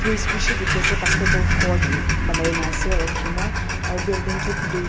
trees bishi diki ase basket ball court banai na ase raki na aro building tu blue .